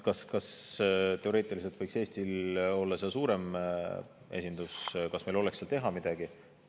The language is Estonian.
Kas teoreetiliselt võiks Eestil olla seal suurem esindus, kas meil oleks seal midagi teha?